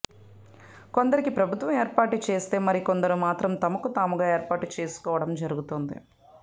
కొందరికి ప్రభుత్వం ఏర్పాటు చేస్తే మరి కొందరు మాత్రం తమకు తాముగా ఏర్పాటు చేసుకోవడం జరుగుతుంది